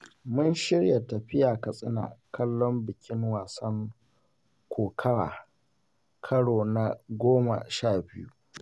Mun shirya tafiya Katsina kallon bikin wasan kokawa karo na goma sha biyu.